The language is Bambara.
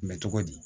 Mɛ cogo di